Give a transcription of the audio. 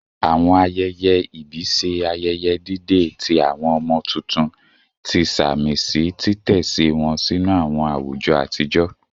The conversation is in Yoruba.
Awọn ayẹyẹ ibi ṣe ayẹyẹ dide ti awọn ọmọ tuntun, ti samisi titẹsi wọn sinu awọn awujọ atijọ